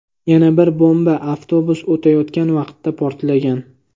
Yana bir bomba avtobus o‘tayotgan vaqtda portlagan.